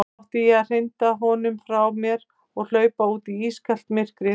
Átti ég að hrinda honum frá mér og hlaupa út í ískalt myrkrið?